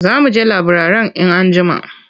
Za mu je laburare in anjima.